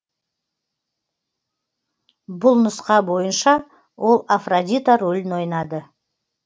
басқа нұсқа бойынша ол афродита рөлін ойнады